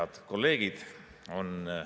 Head kolleegid!